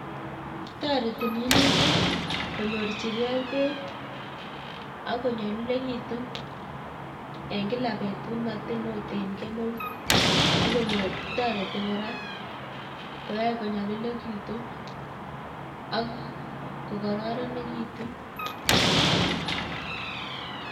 Toreti minutik komyorijge bek akkonyolilegitun en kila betut matin ot en kemeut ak konyor toreti koraa koyoe konyolilekitun ak kokoronekitun.